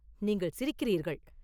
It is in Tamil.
நீங்கள் சிரிக்கிறீர்கள்!